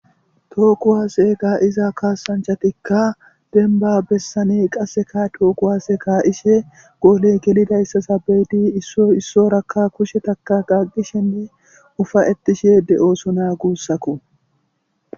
Tookuwase ga iza kaasanchatikka denba bessane qasseka tookuwaaseka ishe goole gelidayssa sabeydi issoissorakka kushetaka qagqishenne ufa ettishe de'oosonaa guussakko.